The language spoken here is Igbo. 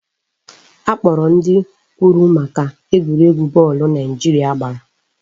Akpọrọ ndị kwuru maka egwuregwu bọọlụ Naijiria gbara